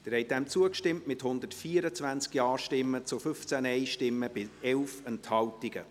Sie haben diesem Antrag zugestimmt, mit 124 Ja- zu 15 Nein-Stimmen bei 11 Enthaltungen.